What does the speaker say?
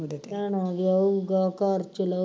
ਭੈਣਾਂ ਵਿਆਹੁਆਂ ਘਰ ਚਲਾਉਗਾ